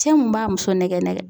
Cɛ mun b'a muso nɛgɛ